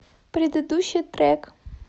предыдущий трек